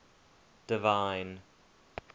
divine